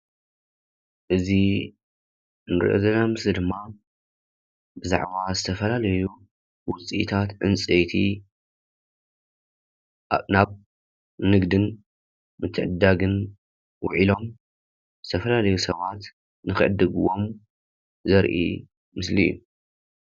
እዚ እንሪኦ ዘለና ምስሊ ድማ ብዛዕባ ዝተፈላለዩ ውፂታት ዕንፀይቲ ናብ ንግድን ምተዕድዳግን ውዒሎም ዝተፈላለዩ ሰባት ንከዕድግዎም ዘርኢ ምስሊ እዩ ።